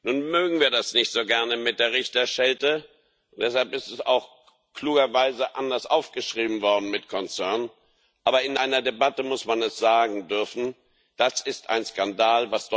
Nun mögen wir das nicht so gerne mit der Richterschelte. Deshalb ist es auch klugerweise anders aufgeschrieben worden mit concern Aber in einer Debatte muss man es sagen dürfen Das ist ein Skandal.